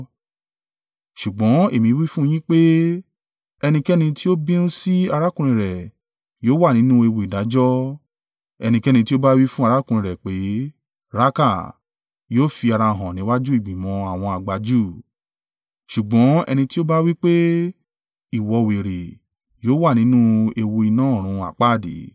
Ṣùgbọ́n èmi wí fún un yín pé, ẹnikẹ́ni tí ó bínú sí arákùnrin rẹ̀ yóò wà nínú ewu ìdájọ́. Ẹnikẹ́ni ti ó ba wí fun arákùnrin rẹ̀ pé, ‘Ráákà,’ yóò fi ara hàn níwájú ìgbìmọ̀ àwọn àgbà Júù; ṣùgbọ́n ẹni tí ó bá wí pé, ‘Ìwọ wèrè!’ yóò wà nínú ewu iná ọ̀run àpáàdì.